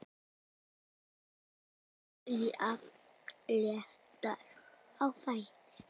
Alltaf jafn léttur á fæti.